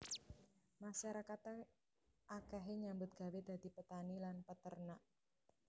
Masyarakate akehe nyambut gawé dadi petani lan peternak